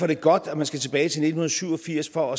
det godt at man skal tilbage til nitten syv og firs for